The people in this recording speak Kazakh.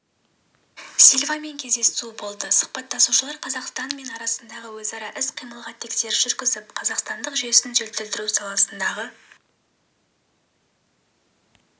сильвамен кездесуі болды сұхбаттасушылар қазақстан мен арасындағы өзара іс-қимылға тексеріс жүргізіп қазақстандық жүйесін жетілдіру саласындағы